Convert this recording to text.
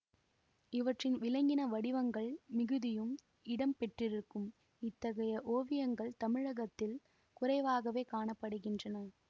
இவற்றில் விலங்கின வடிவங்கள் மிகுதியும் இடம் பெற்றிருக்கும் இத்தகைய ஓவியங்கள் தமிழகத்தில் குறைவாகவே காண படுகின்றன